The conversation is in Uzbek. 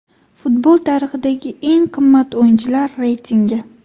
Futbol tarixidagi eng qimmat o‘yinchilar reytingi .